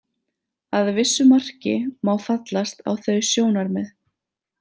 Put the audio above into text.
Að vissu marki má fallast á þau sjónarmið.